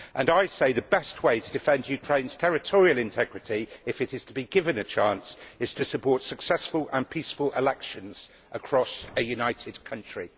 And I say that the best way to defend Ukraine's territorial integrity, if it is to be given a chance, is to support successful and peaceful elections across a united country.